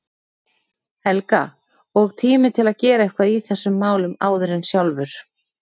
Helga, og tími til að gera eitthvað í þessum málum áður en sjálfur